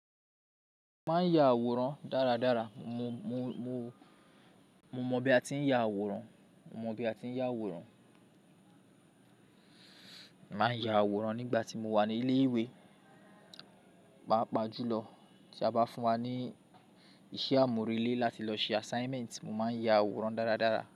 Maa n ya àwòrán daradara. Mo, mo, mo, mo mọ bi a ti n ya àwòrán, mo mọ bi a ti n ya àwòrán. Ma n ya àwòrán nigba ti mo wa ni ile-iwe. Paapaa julọ ti a ba fun wa ni isé amurele lati lọ ṣe assignment, mo ma n ya àwòrán daradara.